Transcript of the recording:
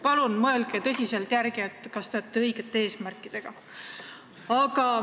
Palun mõelge tõsiselt järele, kas teie eesmärgid on õiged!